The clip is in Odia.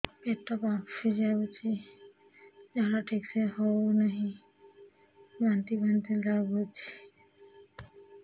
ପେଟ ଫାମ୍ପି ଯାଉଛି ଝାଡା ଠିକ ସେ ହଉନାହିଁ ବାନ୍ତି ବାନ୍ତି ଲଗୁଛି